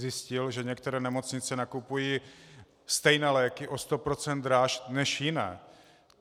Zjistil, že některé nemocnice nakupují stejné léky o 100 % dráž než jiné.